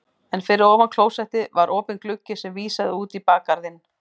En fyrir ofan klósettið var opinn gluggi sem vísaði út í bakgarðinn.